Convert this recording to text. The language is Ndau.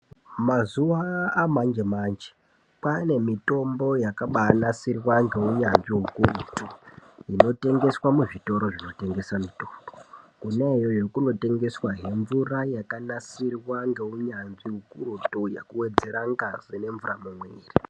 Mazuva amanje manje kwane mitombo yakabai nasirwa ngeu nyanzvi ukurutu inotengeswa muzvi toro zvino tengesa mitoro kona iyoyo kunotengeswa he mvura yakanasirwa ngeunyanzvi ukurutu yekuwedzera ngazi ne mvura mumuviri.